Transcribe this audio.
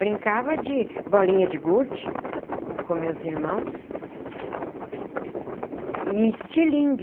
Brincava de bolinha de gude, com meus irmãos, e estilingue.